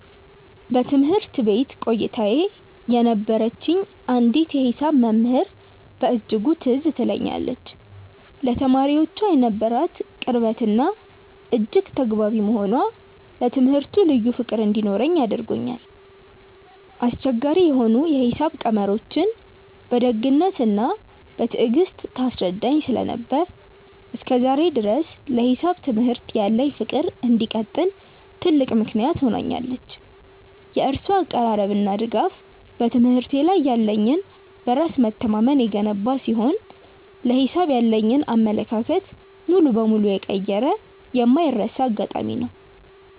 በትምህርት ቤት ቆይታዬ የነበረችኝ አንዲት የሂሳብ መምህር በእጅጉ ትዝ ትለኛለች፤ ለተማሪዎቿ የነበራት ቅርበትና እጅግ ተግባቢ መሆኗ ለትምህርቱ ልዩ ፍቅር እንዲኖረኝ አድርጎኛል። አስቸጋሪ የሆኑ የሂሳብ ቀመሮችን በደግነትና በትዕግስት ታስረዳኝ ስለነበር፣ እስከ ዛሬ ድረስ ለሂሳብ ትምህርት ያለኝ ፍቅር እንዲቀጥል ትልቅ ምክንያት ሆናኛለች። የእሷ አቀራረብና ድጋፍ በትምህርቴ ላይ ያለኝን በራስ መተማመን የገነባ ሲሆን፣ ለሂሳብ ያለኝን አመለካከት ሙሉ በሙሉ የቀየረ የማይረሳ አጋጣሚ ነው።